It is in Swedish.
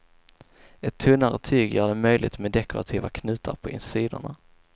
Ett tunnare tyg gör det möjligt med dekorativa knutar på sidorna.